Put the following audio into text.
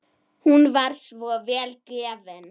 Hún var svo vel gefin.